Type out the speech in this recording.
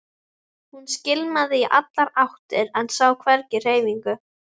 Hún skimaði í allar áttir en sá hvergi hreyfingu.